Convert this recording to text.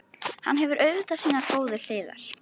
Hann hefur auðvitað sínar góðu hliðar.